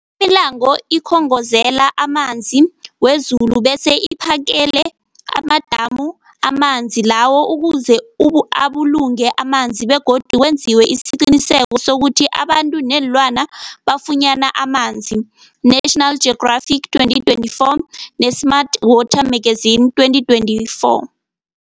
Imilambo ikhongozela amanzi wezulu bese iphakele amadamu amanzi lawo ukuze ubu abulungwe amanzi begodu kwenziwe isiqiniseko sokuthi abantu neenlwana bafunyana amanzi, National Geographic 2024b, ne-Smart Water Magazine 2024.